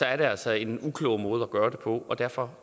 altså en uklog måde at gøre det på og derfor